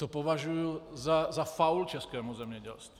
To považuji za faul českému zemědělství.